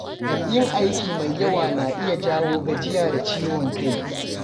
Yin aiki mai yawa na iya jawo gajiya da ciwon kai.